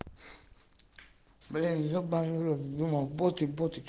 блин ебанный в рот думал боты боты